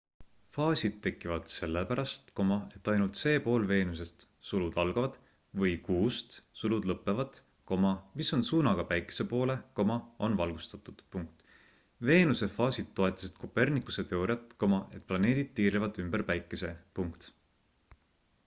faasid tekivad sellepärast et ainult see pool veenusest või kuust mis on suunaga päikese poole on valgustatud. veenuse faasid toetasid copernicuse teooriat et planeedid tiirlevad ümber päikese